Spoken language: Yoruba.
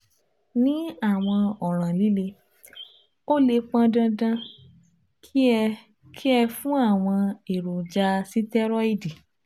ní àwọn ọ̀ràn líle, ó lè pọn dandan kí ẹ kí ẹ fún àwọn èròjà sítẹ́rọ́ìdì